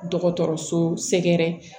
Dɔgɔtɔrɔso sɛgɛrɛ